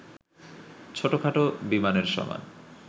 ছোটখাটো বিমানের সমান